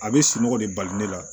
A bɛ sunɔgɔ de bali ne la